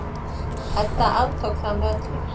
Edda aftók það með öllu.